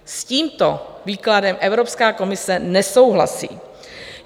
S tímto výkladem Evropská komise nesouhlasí.